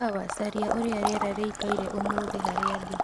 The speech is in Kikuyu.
sawa caria uria rĩera rĩĩkaĩre umuthi harĩa ndi